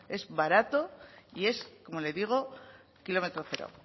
es barato y es como le digo kilómetro cero